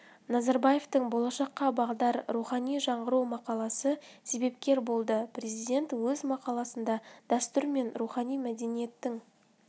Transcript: назарбаевтың болашаққа бағдар рухани жаңғыру мақаласы себепкер болды президент өз мақаласында дәстүр мен рухани мәдениеттің